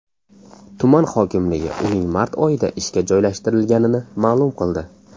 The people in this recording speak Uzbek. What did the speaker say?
Tuman hokimligi uning mart oyida ishga joylashtirilganini ma’lum qildi.